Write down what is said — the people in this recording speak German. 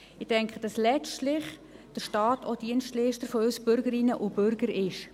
Ich denke, dass letztlich der Staat auch Dienstleister für uns Bürgerinnen und Bürger ist.